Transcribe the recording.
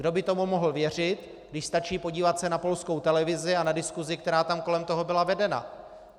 Kdo by tomu mohl věřit, když stačí podívat se na polskou televizi a na diskusi, která tam kolem toho byla vedena?